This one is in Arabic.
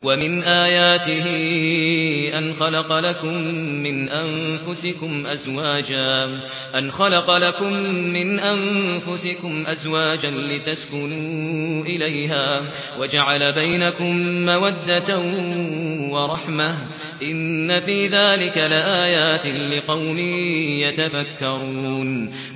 وَمِنْ آيَاتِهِ أَنْ خَلَقَ لَكُم مِّنْ أَنفُسِكُمْ أَزْوَاجًا لِّتَسْكُنُوا إِلَيْهَا وَجَعَلَ بَيْنَكُم مَّوَدَّةً وَرَحْمَةً ۚ إِنَّ فِي ذَٰلِكَ لَآيَاتٍ لِّقَوْمٍ يَتَفَكَّرُونَ